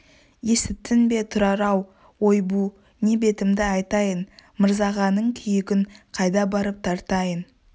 есіттің бе тұрар-ау ойбу не бетімді айтайын мырзағаның күйігін қайда барып тартайын